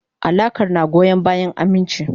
Alakar na goyon bayan aminci.